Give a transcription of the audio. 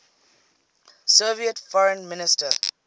soviet foreign minister